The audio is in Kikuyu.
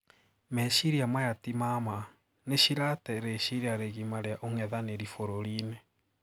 Meshiria maya tima maa, nishiratee reshiria rigima ria ung'ethaniri bururiini.